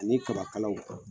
Ani kaba kalaw kan